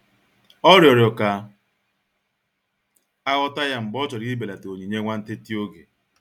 Ọ riọrọ ka aghọta ya mgbe ọ chọrọ ibelata onyinye nwantịtị oge.